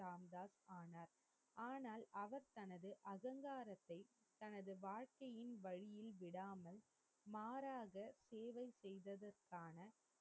ராம்தாஸ் ஆனார். ஆனால், அவர் தனது அகங்காரத்தை தனது வாழ்க்கையின் வழியில் விடாமல் மாறாக சேவை செய்ததற்கான.